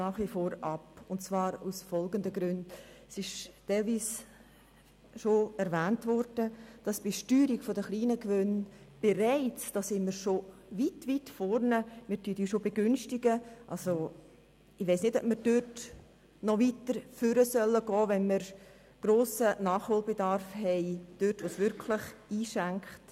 Ich halte es nicht für gut, wenn wir sie noch stärker begünstigen, während wir auf der anderen Seite dort Nachholbedarf haben, wo es um wirklich grosse Summen geht.